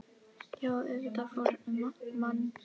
Já auðvitað fór um mann.